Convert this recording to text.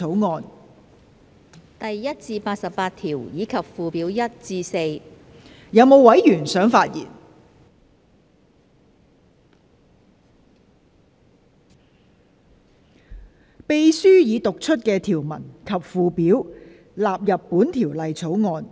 我現在向各位提出的待決議題是：秘書已讀出的條文及附表納入本條例草案。